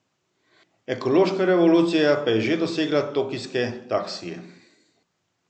Ekološka revolucija pa je že dosegla tokijske taksije.